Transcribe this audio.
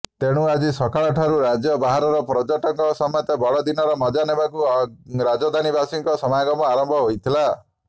ତେଣୁ ଆଜି ସକାଳଠାରୁ ରାଜ୍ୟ ବାହାରର ପର୍ଯ୍ୟଟକଙ୍କ ସମେତ ବଡ଼ଦିନର ମଜା ନେବାକୁ ରାଜଧାନୀବାସୀଙ୍କ ସମାଗମ ଆରମ୍ଭ ହୋଇଥିଲା